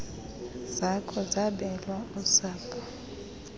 zakho zabelwa usapho